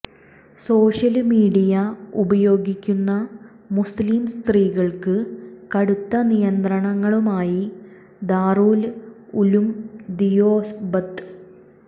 social media ഉപയോഗിക്കുന്ന മുസ്ലിം സ്ത്രീകള്ക്ക് കടുത്ത നിയന്ത്രണങ്ങളുമായി ദാറുല് ഉലൂം ദിയോബന്ത്